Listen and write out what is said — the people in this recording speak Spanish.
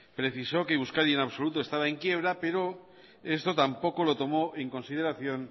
precisó que euskadi en absoluto estaba en quiebra pero esto tampoco lo tomó en consideración